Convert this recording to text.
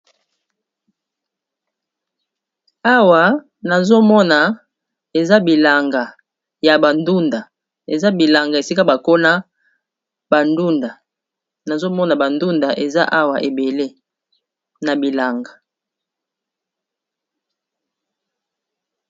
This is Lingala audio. Awa nazomona eza bilanga ya bandunda eza bilanga esika bakona bandunda nazomona bandunda eza awa ebele na bilanga.